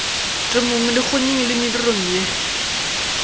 temong dikgonyeng le medirong ye